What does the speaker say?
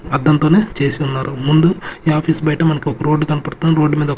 అద్దం తోనే చేసి ఉన్నారు ముందు ఈ ఆఫీసు బయట మనకు ఒక రోడ్ కనపడుతుంది రోడ్ మీద--